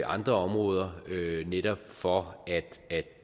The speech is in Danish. andre områder netop for